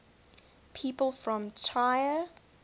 people from trier